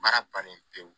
Baara bannen pewu